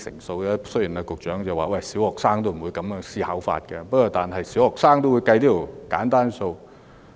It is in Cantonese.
雖然局長說小學生不會這樣思考，但小學生也懂得計算這樣簡單的數學題。